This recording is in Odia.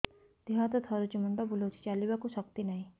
ଦେହ ହାତ ଥରୁଛି ମୁଣ୍ଡ ବୁଲଉଛି ଚାଲିବାକୁ ଶକ୍ତି ନାହିଁ